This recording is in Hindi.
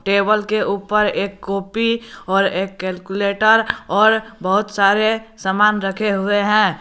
टेबल के ऊपर एक कॉपी और एक कैलकुलेटर और बहुत सारे सामान रखे हुए हैं।